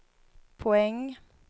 poäng